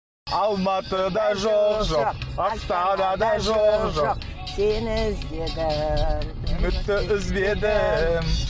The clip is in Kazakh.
алматыда жоқ жоқ астанада жоқ жоқ сені іздедім үмітті үзбедім